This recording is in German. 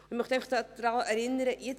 Ich möchte an Folgendes erinnern: